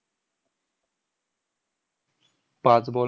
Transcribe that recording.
पाच ball